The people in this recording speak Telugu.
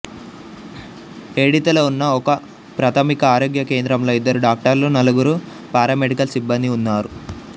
ఏడితలో ఉన్న ఒకప్రాథమిక ఆరోగ్య కేంద్రంలో ఇద్దరు డాక్టర్లు నలుగురు పారామెడికల్ సిబ్బందీ ఉన్నారు